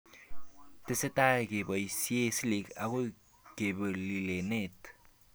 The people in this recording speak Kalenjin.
Tesetai koboisie silk akoi kepollineten